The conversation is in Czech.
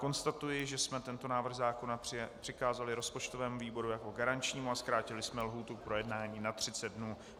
Konstatuji, že jsme tento návrh zákona přikázali rozpočtovému výboru jako garančnímu a zkrátili jsme lhůtu k projednání na 30 dnů.